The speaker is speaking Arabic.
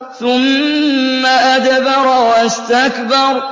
ثُمَّ أَدْبَرَ وَاسْتَكْبَرَ